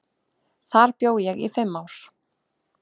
Þar bjó ég í fimm ár.